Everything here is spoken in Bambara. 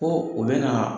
Ko u bɛ na